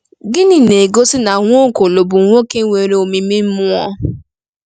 Gịnị na-egosi na Nwaokolo bụ nwoke nwere omimi mmụọ?